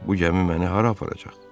Bu gəmi məni hara aparacaq?